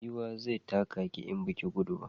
Giwa zai taka ki in baki yi gudu ba